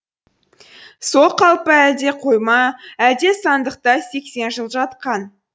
сол қалпы әлде қойма әлде сандықта сексен жыл жатқан